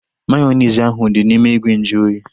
Mayonezi ahu dị n'ime ìgwè nju oyi